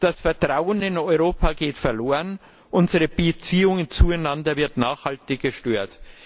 Das Vertrauen in Europa geht verloren, unsere Beziehung zueinander wird nachhaltig gestört.